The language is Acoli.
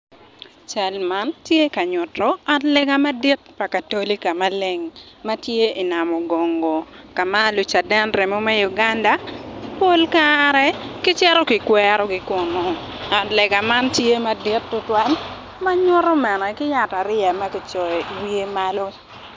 Cal man ti ka nyutu ot lega pa katoli ka ma leng ma tye i namo gungo ka ma lucaden remo me Uganda pol kare ki cito ki kwerogi kunu ot lega man tye madit tutwal ma nyutu bene ki yat ariya ma kicoyo i wiye malo